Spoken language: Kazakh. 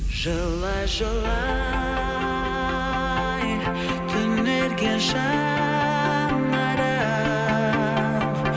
жылай жылай түнерген жаңарып